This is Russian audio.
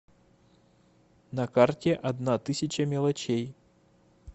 на карте одна тысяча мелочей